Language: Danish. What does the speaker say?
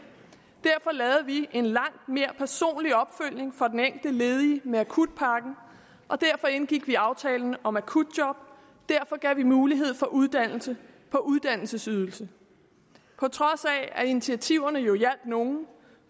derfor lavede vi en langt mere personlig opfølgning for den enkelte ledige med akutpakken og derfor indgik vi aftalen om akutjob derfor gav vi mulighed for uddannelse på uddannelsesydelse på trods af at initiativerne jo hjalp nogle